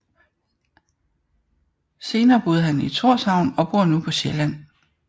Senere boede han i Tórshavn og bor nu på Sjælland